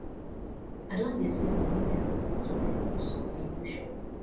i don dey save moni wey i go use buy goods for my new shop